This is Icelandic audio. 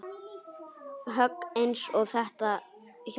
Högg eins og þetta hjálpa